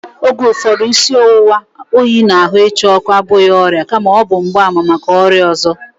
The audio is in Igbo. Oge ụfọdụ, isi ọwụwa, oyi na ahụ ịcha ọkụ abụghị ọrịa kama ọ bụ mgbaàmà maka ọrịa ọzọ